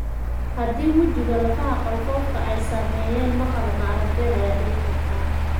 Haddii wejiga ama lafaha qalfoofka ay saameeyeen, maqal ama arag beel ayaa dhici karta.